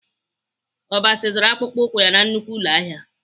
Obasi zụrụ akpụkpọ ụkwụ ya na nnukwu ụlọahịa